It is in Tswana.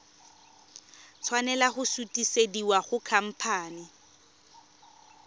tshwanela go sutisediwa go khamphane